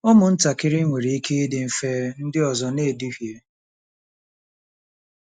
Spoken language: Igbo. Ụmụntakịrị nwere ike ịdị mfe ndị ọzọ na-eduhie.